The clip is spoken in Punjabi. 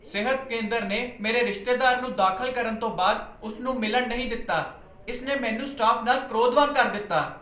ਸਿਹਤ ਕੇਂਦਰ ਨੇ ਮੇਰੇ ਰਿਸ਼ਤੇਦਾਰ ਨੂੰ ਦਾਖ਼ਲ ਕਰਨ ਤੋਂ ਬਾਅਦ ਉਸ ਨੂੰ ਮਿਲਣ ਨਹੀਂ ਦਿੱਤਾ। ਇਸ ਨੇ ਮੈਨੂੰ ਸਟਾਫ਼ ਨਾਲ ਕ੍ਰੋਧਵਾਨ ਕਰ ਦਿੱਤਾ।